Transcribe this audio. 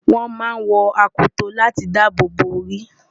wọ́n máa ń wọ akoto láti dáàbòbò orí